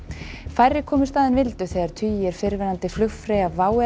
færri komust að en vildu þegar tugir fyrrverandi flugfreyja WOW